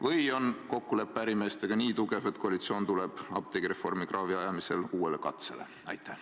Või on kokkulepe ärimeestega nii tugev, et koalitsioon tuleb apteegireformi kraavi ajamisel uuele katsele?